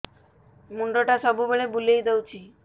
ମୁଣ୍ଡଟା ସବୁବେଳେ ବୁଲେଇ ଦଉଛି